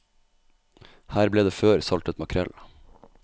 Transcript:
Her ble det før saltet makrell.